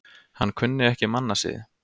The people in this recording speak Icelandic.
Hann kunni ekki mannasiði.